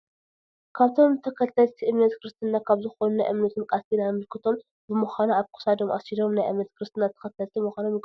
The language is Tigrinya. ካብቶም ተከተልቲ እምነት ክርስትና ካብ ዝኮኑ ናይ እምነቶም ቃል ኪዳን ምልክቶም ብምካኑ ኣብ ክሳዶም ኣሲሮም ናይ እምነት ክርስትና ተከተልቲ ምኮኖም ይገልፁ።